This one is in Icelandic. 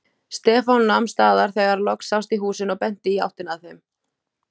Stefán nam staðar þegar loks sást í húsin og benti í áttina að þeim.